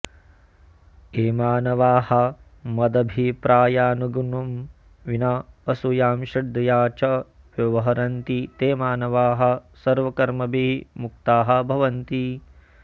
ये मानवाः मदभिप्रायानुगुणं विना असूयां श्रद्धया च व्यवहरन्ति ते मानवाः सर्वकर्मभिः मुक्ताः भवन्ति